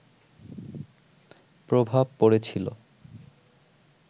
প্রভাব পড়েছিলো